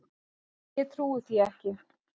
Ég trúi því ekki!